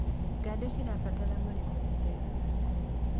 ng'ondu irabatara mũrĩre mũtheru